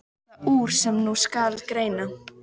Varð það úr, sem nú skal greina.